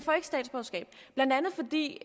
de